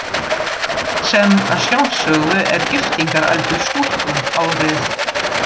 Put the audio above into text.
Sem að sjálfsögðu er giftingaraldur stúlku árið